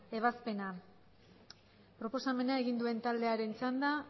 ebazpena proposamena egin duen taldearen txanda